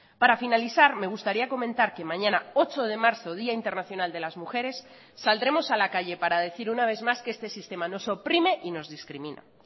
para finalizar me gustaría comentar que mañana ocho de marzo día internacional de las mujeres saldremos a la calle para decir una vez más que este sistema nos oprime y nos discrimina